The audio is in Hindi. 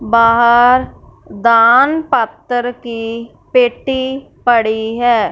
बाहर दान पात्र की पेटी पड़ी हैं।